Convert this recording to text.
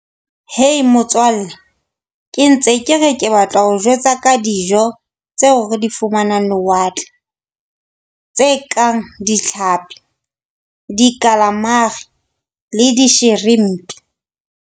Hey motswalle ke ntse ke re ke batla ho o jwetsa ka dijo tseo re di fumanang lewatle, tse kang ditlhapi, di-calamari le di .